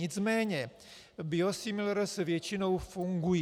Nicméně biosimilars většinou fungují.